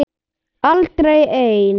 Aldrei ein